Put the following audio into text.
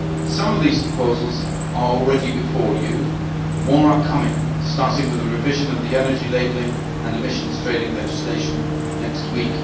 Some of these proposals are already before you, and more are coming starting with the revision of the energy labelling and emissions trading legislation next week.